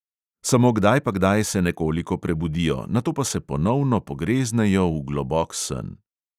Samo kdaj pa kdaj se nekoliko prebudijo, nato pa se ponovno pogreznejo v globok sen.